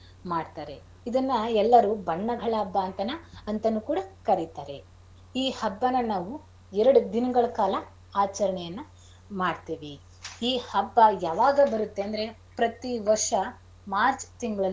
ಮಾಡ್ತಾರೆ. ಇದನ್ನ ಎಲ್ಲಾರು ಬಣ್ಣಗಳ ಹಬ್ಬ ಅಂತಾನ~ ಅಂತಾನೂ ಕೂಡ ಕರಿತಾರೆ. ಈ ಹಬ್ಬನಾ ನಾವು ಎರ್ಡ್ ದಿನಗಳ ಕಾಲ ಆಚರಣೆಯನ್ನ ಮಾಡ್ತೀವಿ. ಈ ಹಬ್ಬ ಯಾವಾಗ ಬರತ್ತೆ ಅಂದ್ರೆ ಪ್ರತಿ ವರ್ಷ ಮಾರ್ಚ್ ತಿಂಗ್ಳಲ್ಲಿ.